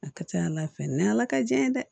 A ka ca ala fɛ ni ala ka jɛ ye dɛ